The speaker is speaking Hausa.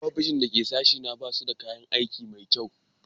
Ofisoshin da ke sashena ba su da kayan aiki da kyau